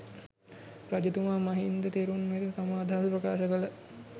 රජතුමා මහින්ද තෙරුන් වෙත තම අදහස ප්‍රකාශ කළ